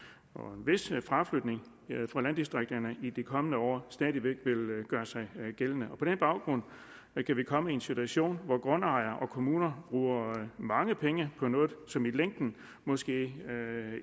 at fraflytning fra landdistrikterne i de kommende år stadig væk vil gøre sig gældende på den baggrund kan vi komme i en situation hvor grundejere og kommuner bruger mange penge på noget som i længden måske